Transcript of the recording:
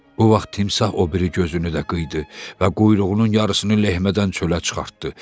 O vaxt timsah o biri gözünü də qıydı və quyruğunun yarısını lehmədən çölə çıxartdı.